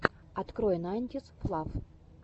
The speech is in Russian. открой найнтисфлав